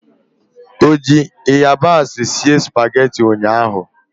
Ọ ji ịyabasị sie spageti ụnyaahụ?